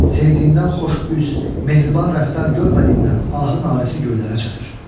Sevdiyindən xoş üz, mehriban rəftar görmədiyindən ahı-narəsi göylərə çatır.